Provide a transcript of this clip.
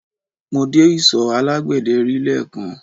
Mo dé isọ̀ alágbẹ̀dẹ́ rí lẹ́ẹ̀kan